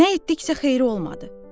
Nə etdiksə xeyri olmadı.